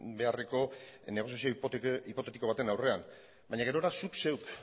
beharreko negoziazio hipotetiko baten aurrean baina gerora zuk zeuk